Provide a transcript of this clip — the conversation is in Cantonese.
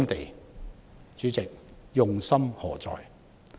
代理主席，他們用心何在？